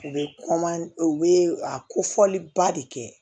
U bɛ u bɛ a ko fɔliba de kɛ